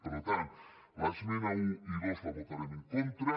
per tant les esmenes un i dos les votarem en contra